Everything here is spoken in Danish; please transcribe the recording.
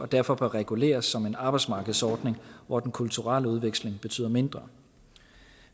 derfor bør reguleres som en arbejdsmarkedsordning hvor den kulturelle udveksling betyder mindre